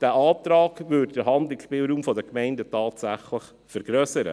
Dieser Antrag würde den Handlungsspielraum der Gemeinden tatsächlich vergrössern.